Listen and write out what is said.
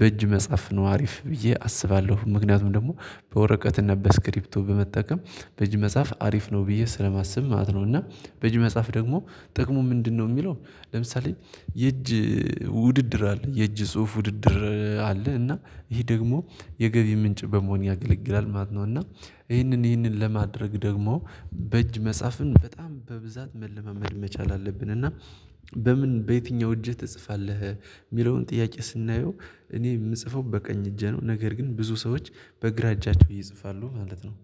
በእጅ መጻፍ ነው አሪፍ ብዬ አስባለሁ። ምክንያቱም ደግሞ በወረቀትና በስክሪብቶ በመጠቀም በእጅ መጽሐፍ አሪፍ ነው ብዬ ስለማስብ ማለት ነው። እና በእጅ መጽሐፍ ደግሞ ጥቅሙ ምንድነው? የሚለው ለምሳሌ የእጅ ውድድር አለ የእጅ ጽሁፍ ውድድር አለ እና ይሄ ደግሞ የገቢ ምንጭ በመሆን ያገለግላል ማለት ነው። እና ይሄንን ይሄንን ለማድረግ ደግሞ በእጅ መጽሐፍን በጣም በብዛት መለማመድ መቻል አለብን። እና በምን በየትኛው እጅህ ትጽፋለህ? የሚለውን ጥያቄ ስናየው እኔ የምጽፈው በቀኝ እጄ ነው ነገር ግን ብዙ ሰዎች በግራ እጃቸው ይጽፋሉ ማለት ነው